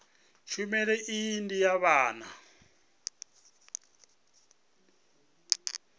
tshumelo iyi ndi ya vhabvann